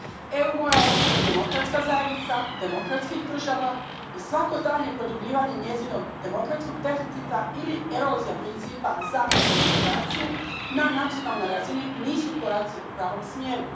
EU mora ostati demokratska zajednica demokratskih država i svako daljnje produbljivanje njezinog demokratskog deficita ili erozija principa zapadne demokracije na nacionalnoj razini nisu koraci u pravom smjeru.